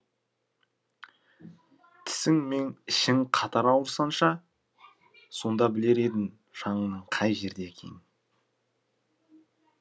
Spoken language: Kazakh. тісің мен ішің қатар ауырсыншы сонда білер едің жаныңның қай жерде екенін